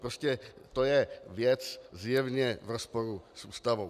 Prostě to je věc zjevně v rozporu s Ústavou.